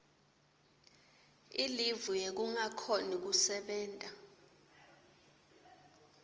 ilivu yekungakhoni kusebenta